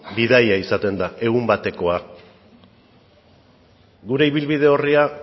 bidaia izaten da egun batekoa gure ibilbide orria